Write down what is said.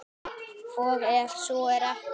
Og ef svo er ekki?